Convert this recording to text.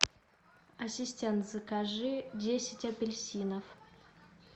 ассистент закажи десять апельсинов